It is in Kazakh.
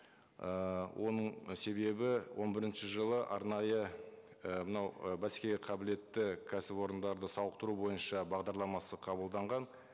ііі оның себебі он бірінші жылы арнайы і мынау і бәсекеге қабілетті кәсіпорындарды сауықтыру бойынша бағдарламасы қабылданған